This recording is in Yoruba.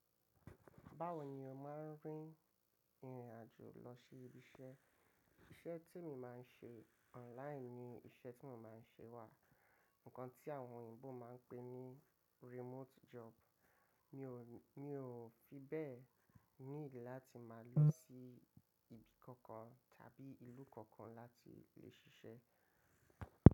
Báwo ni o máa ń rìnrìn àjò lọ sí ibi iṣẹ́? Iṣẹ́ tí mo máa ń ṣe online ni iṣẹ́ tí mo máa ń ṣe wà. Ǹkan tí àwọn òyìnbó máa ń pè ní remote job. Mi ò, mi ò fi bẹ́ẹ̀ need láti máa lọ sí ibi kankan tàbí ìlú kankan láti lè ṣiṣẹ́.